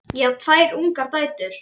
Ég á tvær ungar dætur.